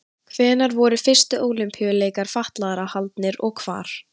Hvenær voru fyrstu Ólympíuleikar fatlaðra haldnir og hvar?